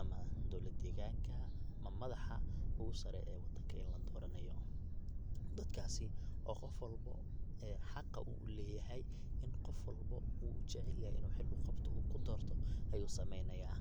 ama dowlad deeganka ama madaxa ogu saare ee wadanka ee la doranaya. dadakas oo qof walbo ee xaqa uu uleyhay inu qof walbo uu ujecelyahay inu xil uqabto uu ku dorto ayu sameynaya.